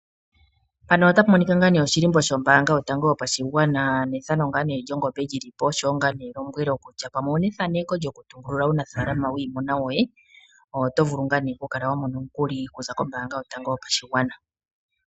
Elombwelo kutya pamwe owuna ethano okutungulula uunafalama wiimuna yoye oto vulu oku kala wamona omukuli okuza kombaanga yotango yopashigwana.